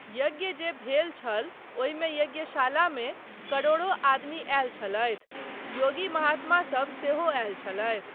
यज्ञ जे भेल छल ओहिमे यज्ञशालामे करोड़ों आदमी आयल छलथि, योगी महात्मासब सेहो आयल छलथि।